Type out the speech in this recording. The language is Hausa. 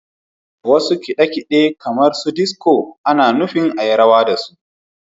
Wasu kiɗa kamar disico ana nufin a yi rawa da su.